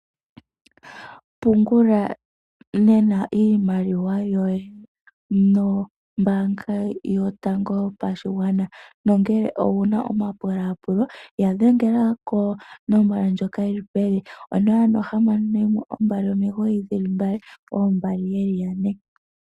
Pungula nena iimaliwa yoye nombaanga yotango yopashigwana, nongele owuna omapulaapulo ya dhengela konomola ndjoka yili pevi, 0612992222